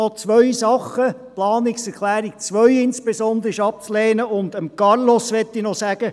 Noch zwei Dinge: Insbesondere ist die Planungserklärung 2 abzulehnen, und zu Carlos Reinhard möchte ich noch sagen: